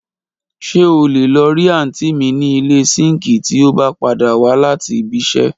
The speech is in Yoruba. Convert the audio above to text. ṣe ọ lé lo ri aunti mí ni ile sinki ti ọ ba pada wa lati bi ṣe